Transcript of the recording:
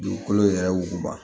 Dugukolo yɛrɛ wuguba